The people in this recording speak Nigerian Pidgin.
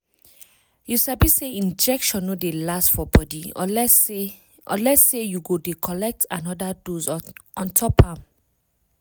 you sabi say injection no dey last for body unless say unless say you go dey collect anoda dose ontop am